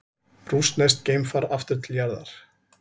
Rússneskt geimfar aftur til jarðar